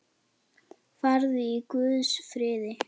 Farðu í Guðs friði.